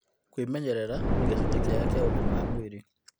Kwĩmenyerera nĩ gĩcunjĩ kĩa ũgima mwega wa mwĩrĩ